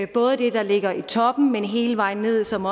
både det der ligger i toppen hele vejen ned som